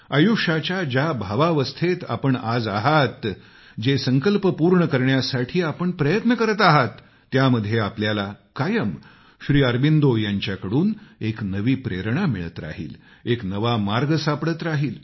आयुष्याच्या ज्या भावावस्थेत आपण आज आहात जे संकल्प पूर्ण करण्यासाठी आपण प्रयत्न करत आहात त्यामध्ये आपल्याला कायम श्री अरबिंदो यांच्याकडून एक नवी प्रेरणा मिळत राहील एक नवा मार्ग सापडत राहील